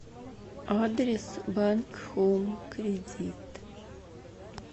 адрес банк хоум кредит